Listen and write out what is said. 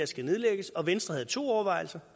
skal nedlægges og venstre havde to overvejelser